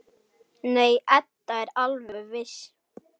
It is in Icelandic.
Nei, Edda er alveg viss.